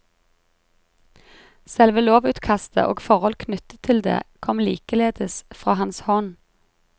Selve lovutkastet og forhold knyttet til det kom likeledes fra hans hånd.